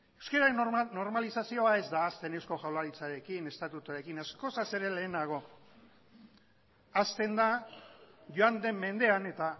euskararen normalizazio ez da hasten eusko jaurlaritzarekin estatutuarekin askoz ere lehenago hasten da joan den mendean eta